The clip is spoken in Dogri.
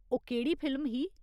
ओह् केह्ड़ी फिल्म ही ?